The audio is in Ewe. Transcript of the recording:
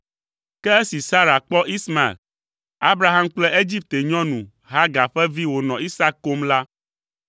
Ke esi Sara kpɔ Ismael, Abraham kple Egipte nyɔnu, Hagar ƒe vi wònɔ Isak kom la,